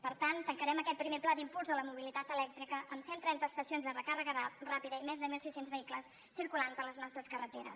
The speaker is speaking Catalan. per tant tancarem aquest primer pla d’impuls a la mobilitat elèctrica amb cent trenta estacions de recàrrega ràpida i més de mil sis cents vehicles circulant per les nostres carreteres